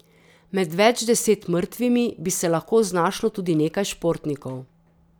Med več deset mrtvimi bi se lahko znašlo tudi nekaj športnikov.